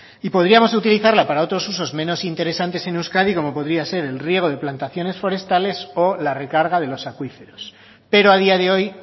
y podríamos utilizarla para otros usos menos interesantes en euskadi como podría ser el riego de plantaciones forestales o la recarga de los acuíferos pero a día de hoy